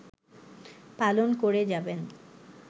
পালন করে যাবেন